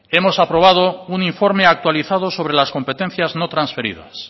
hemos aprobado un informe actualizado sobre las competencias no transferidas